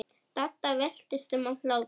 Dadda veltist um af hlátri.